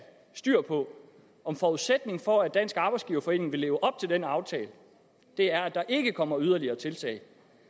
styr på om forudsætningen for at dansk arbejdsgiverforening vil leve op til den aftale er at der ikke kommer yderligere tiltag